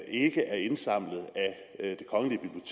ikke er indsamlet af